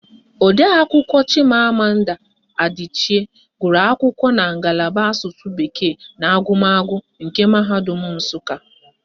Odeakwụkwọ Chimamanda Adichie gụrụ akwụkwọ na ngalaba Asụsụ bekee na agụmagụ nke Mahadum Nsụka